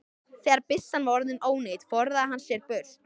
Þegar byssan var orðin ónýt forðaði hann sér burt.